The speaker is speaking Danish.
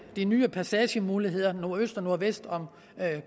de nye passagemuligheder nordøst og nordvest om